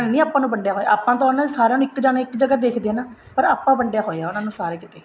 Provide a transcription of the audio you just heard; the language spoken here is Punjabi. ਨੇ ਨੀ ਆਪਾਂ ਨੂੰ ਵੰਡਿਆ ਹੋਇਆ ਆਪਾਂ ਨੂੰ ਤਾਂ ਸਾਰੀਆਂ ਨੂੰ ਇੱਕ ਜਾਣਾ ਇੱਕ ਜਗ੍ਹਾ ਦੇਖਦੇ ਆ ਨਾ ਪਰ ਆਪਾਂ ਵੰਡੀਆਂ ਹੋਇਆ ਉਹਨਾ ਨੂੰ ਸਾਰੇ ਕੀਤੇ